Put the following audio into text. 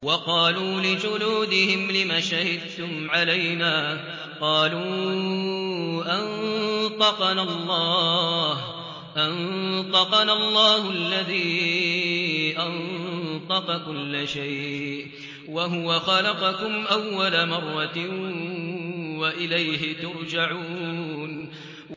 وَقَالُوا لِجُلُودِهِمْ لِمَ شَهِدتُّمْ عَلَيْنَا ۖ قَالُوا أَنطَقَنَا اللَّهُ الَّذِي أَنطَقَ كُلَّ شَيْءٍ وَهُوَ خَلَقَكُمْ أَوَّلَ مَرَّةٍ وَإِلَيْهِ تُرْجَعُونَ